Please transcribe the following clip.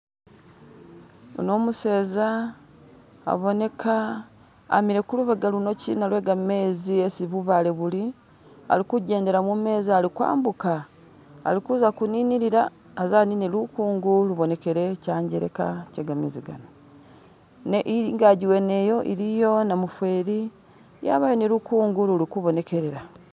Uno umuseza aboneka amile kulubega luno kyina lwe gamezi esi bubaale buli ali kujendela mu mezi ali kwambuka ali kuza kuninilila aze anine lukungu lubonekele kyanjeleka kye kamezi gano, ne ingagi wene iyo iliyo namufeeli nabayo ni lukungu luli kubonekelela.